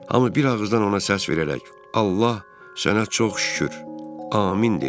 Hamı bir ağızdan ona səs verərək: "Allah, sənə çox şükür! Amin!" deyirdi.